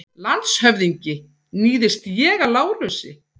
LANDSHÖFÐINGI: Níðist ég á Lárusi?